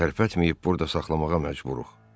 Tərpətməyib burda saxlamağa məcburuq.